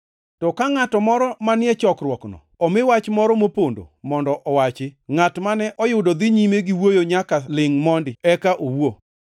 To ka ngʼato moro manie chokruokno omi wach moro mopondo mondo owachi, ngʼat mane oyudo dhi nyime gi wuoyo nyaka lingʼ mondi, eka owuo.